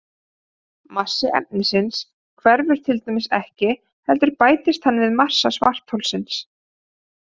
Massi efnisins hverfur til dæmis ekki heldur bætist hann við massa svartholsins.